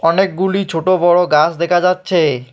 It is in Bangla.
অনেকগুলি ছোট-বড় গাছ দেখা যাচ্ছে।